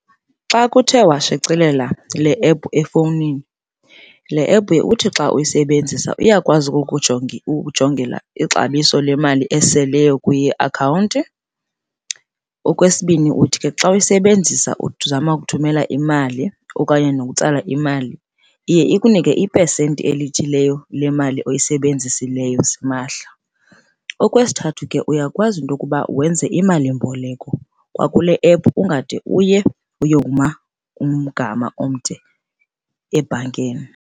Xa kuthe washicelela le ephu efownini, le ephu uthi xa uyisebenzisa iyakwazi ukujongela ixabiso lemali eseleyo kwiakhawunti. Okwesibini, uthi ke xa uyisebenzisa uzama ukuthumela imali okanye nokutsala imali iye ikunike ipesenti elithileyo lemali oyisebenzisileyo simahla. Okwesithathu ke, uyakwazi into yokuba wenze imali mboleko kwakule ephu ungade uye uyokuma umgama omde ebhankeni.